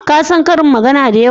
Ka san ƙarin magana da yawa?